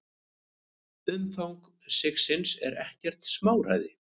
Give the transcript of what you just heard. Umfang sigsins er ekkert smáræði.